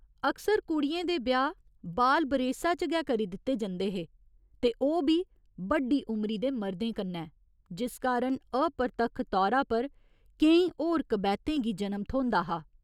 अक्सर कुड़ियें दे ब्याह् बाल बरेसा च गै करी दित्ते जंदे हे ते ओह् बी बड्डी उमरी दे मरदें कन्नै, जिस कारण अपरतक्ख तौरा पर केईं होर कबैह्तें गी जनम थ्होंदा हा।